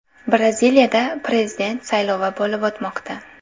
Braziliyada prezident saylovi bo‘lib o‘tmoqda.